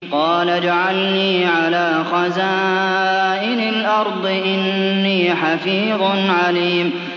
قَالَ اجْعَلْنِي عَلَىٰ خَزَائِنِ الْأَرْضِ ۖ إِنِّي حَفِيظٌ عَلِيمٌ